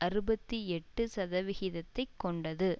அறுபத்தி எட்டு சதவிகித்ததை கொண்டது